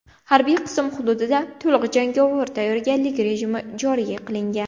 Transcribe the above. Harbiy qism hududida to‘liq jangovar tayyorgarlik rejimi joriy qilingan.